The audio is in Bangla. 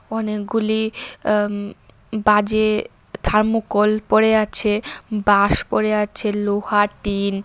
অনেকগুলি অ্যা উম বাজে থার্মকল পড়ে আছে বাঁশ পড়ে আছে লোহা টিন --